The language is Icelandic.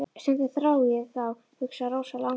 Stundum þrái ég þá, hugsaði Rósa langþjálfuð.